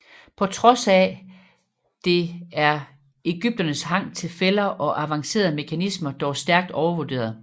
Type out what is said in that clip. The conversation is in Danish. På trods af det er egypternes hang til fælder og avancerede mekanismer dog stærkt overvurderet